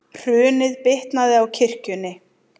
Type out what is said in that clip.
Hrunið bitnaði á kirkjunni